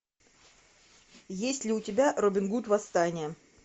есть ли у тебя робин гуд восстание